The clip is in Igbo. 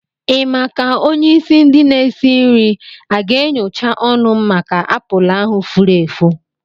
Ị ma ka onye isi ndi n'esi nri a ga-enyocha ọnụ m maka apụlụ ahu fúrú èfù?